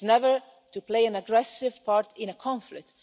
granted. It is never to play an aggressive part in a conflict.